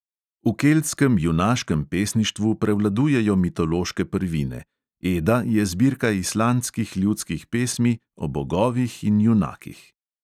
V keltskem junaškem pesništvu prevladujejo mitološke prvine, eda je zbirka islandskih ljudskih pesmi o bogovih in junakih.